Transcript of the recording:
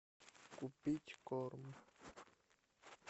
купить корм